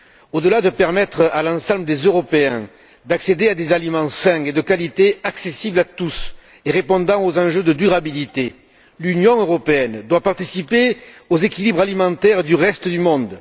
Au delà de permettre à l'ensemble des Européens d'accéder à des aliments sains et de qualité, accessibles à tous et répondant aux enjeux de durabilité, l'Union européenne doit participer aux équilibres alimentaires du reste du monde.